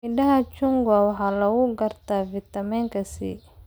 Midhaha chungwa waxaa lagu gartaa fiitamiinka C.